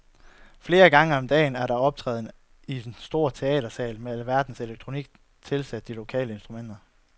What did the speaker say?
Flere gange om dagen er der optræden i en stor teatersal med alverdens elektronik tilsat de lokale instrumenter.